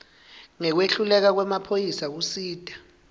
ngekwehluleka kwemaphoyisa kusita